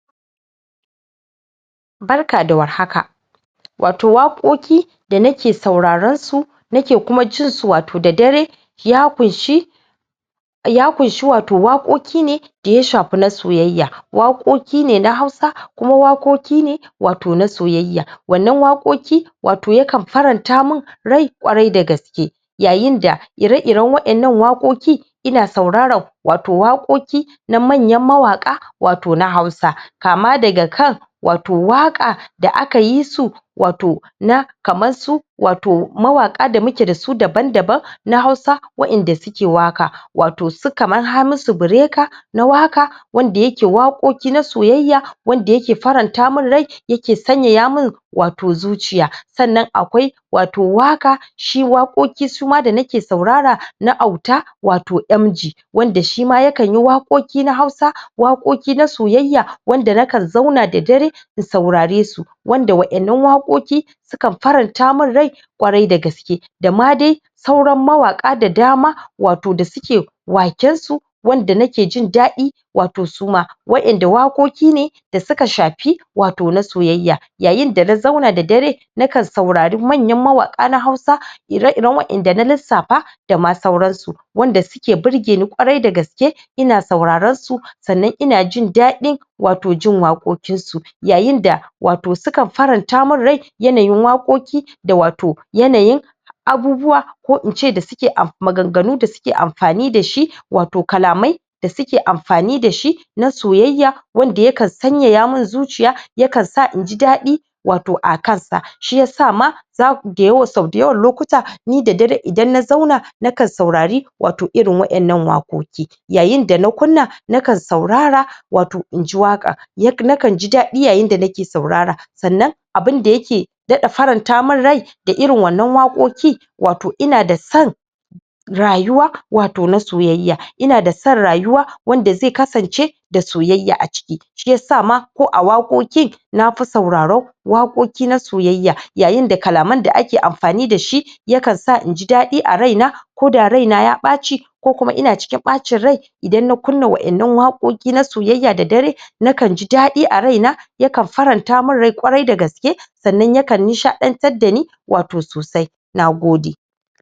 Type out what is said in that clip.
Barka da warhaka wato Waƙoƙi da nake saurarensu nake kuma jinsu da dare ya kunshe Waƙoƙi ne daya shafe na soyyaya Waƙoƙi ne na hausa kuma Waƙoƙi ne na soyyaya, wannan Waƙoƙi yakan faranta min rai ƙwarai da gaske yayin da ire iren wawaɗannan waƙoƙi ina sauraren wato waƙoƙi na manyan mawaƙa na wato na hausa kama daga kan wato waƙa da aka yisu wato na kaman su mawaƙa da muke dasu daban daban na hausa wadanda suke waƙa su kaman su hamisu breaker wanda yake Waƙoƙi na soyyaya wanda yake faranta min rai yake sanyaya min zuciya sannan akwai Waƙoƙi wanda nake sauraro na Auta MG shima yakanyi Waƙoƙi na soyayya na kan zauna da dare waɗannan waƙoƙi su kan faranta min rai kwarai da gaske dama dai sauran mawaƙa da dama waƙen su wada nake jin dadin wato suma waɗanda Waƙoƙi ne da suka shafi wato na soyyaya yayin dana zauna da dare na kan saurara manyan mawaƙa na hausa iri iren waɗanda na lissafa dama sauransu wanda suke burge ni kwarai da gaske ina saurarensu kuma inajin dadin wato jin Waƙoƙin jinsu yayinda wato sukan faranta min rai yanayin Waƙoƙi da wato yanayin maganganu da suke amfani dasu wato kalamai da suke amfani dashi na soyyaya wanda yana sanyaya min zuciya ya kan sa naji dadi wato a kan sa shiyasa ma, sau da yawan lokuta ni da dare idan na zauna na kan saurara wato irin wadan nan Waƙoƙi Nagode yayin dana kunna na kan saurara wato inji waƙa abin da yake daɗa faranta min rai da irin wannan Waƙoƙi wato ina da san rayuwa na soyyaya, ina da san rayuwa wanda sai kasance da soyyaya, a ciki shiyasa ma ko a Waƙoƙi nake sauraron na soyyaya yayin da kalaman da ake amfani dashi ya kan sa naji daɗi a raina koda ina cikin baccin rai ko raina ya baci idan na kunna waɗannan waƙoƙi na soyyaya da dare na kan ji daɗi a raina yakan farnta min rai kwarai da gaske sannan yakan nishaɗantar dani sosai Nagode